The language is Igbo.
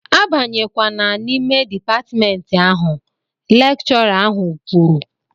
A banyekwana n'ime dịpatmentị ahụ! Lekchọra ahụ kwuru